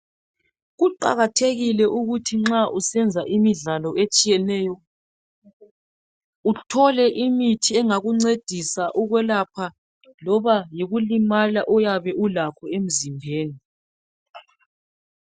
Kuqakathekile ukuthi nxa usenza imidlalo etshiyeneyo uthole imithi engakuncedisa ukwelapha loba yikulimala oyabulakho emzimbeni.